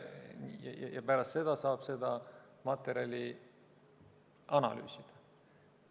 Pärast seda saab seda materjali analüüsida.